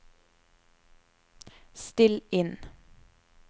still inn